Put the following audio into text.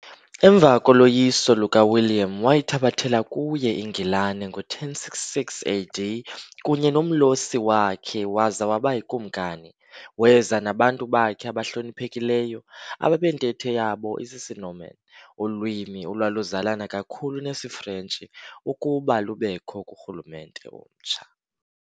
Emva koloyiso lukaWilliam wayithabathela kuye iNgilane ngo1066 AD kunye nomlhosi wakhe waza wabayikumkani, weza nabantu bakhe abahloniphekileyo, ababentetho yabo isisiNorman, ulwimi olwaluzalana kakhulu nesiFrentshi, ukuba lubekho kurhulumente omtsha.